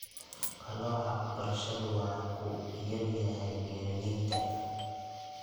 Qalooca waxbarashadu waa ku yar yahay beeralayda.